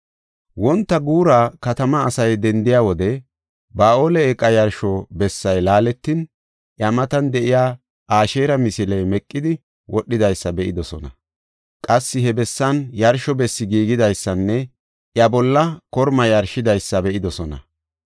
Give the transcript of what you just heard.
Wonta guura katamaa asay dendiya wode Ba7aale eeqa yarsho bessay laaletin, iya matan de7iya Asheera misiley meqidi wodhidaysa be7idosona. Qassi he bessan yarsho bessi giigidaysanne iya bolla korma yarshidaysa be7idosona.